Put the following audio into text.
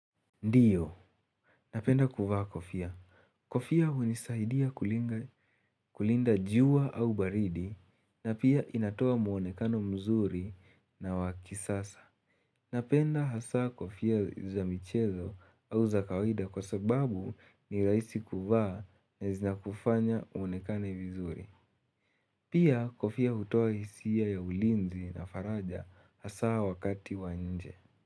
Ndiyo, napenda kuvaa kofia. Kofia hunisaidia kulinga kulinda jua au baridi na pia inatoa muonekano mzuri na wa kisasa. Napenda hasaa kofia za michezo au za kawaida kwa sababu ni raisi kuvaa na zinakufanya uonekane vizuri. Pia kofia hutoa hisia ya ulinzi na faraja hasaa wakati wa nje.